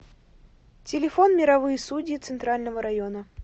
телефон мировые судьи центрального района